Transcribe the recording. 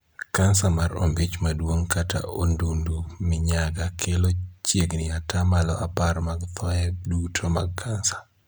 Kansa mar ombich maduong kata ondundu minyaga kelo chiegni ataa malo apar mag thoe duto mag kansa.